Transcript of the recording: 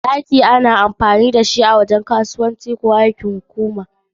Daki, saitin ɗakuna, ko ginin da aka yi amfani da shi azaman wurin kasuwanci, ƙwararru, ko aikin hukuma